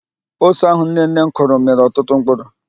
Ose ahụ nnenne m kụrụ mịrị ọtụtụ mkpụrụ.